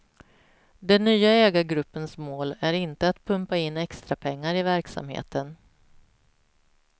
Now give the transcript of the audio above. Den nya ägargruppens mål är inte att pumpa in extrapengar i verksamheten.